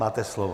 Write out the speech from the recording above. Máte slovo.